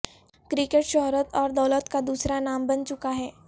cricket شہرت اور دولت کا دوسرا نام بن چکا ہے